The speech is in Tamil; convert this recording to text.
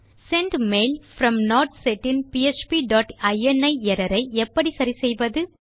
sendmail from not set in PHP dot ini error ஐ எப்படி சரி செய்வது